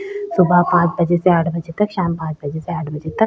सुबह पांच बजे से आठ बजे तक शाम पांच बजे से आठ बजे तक --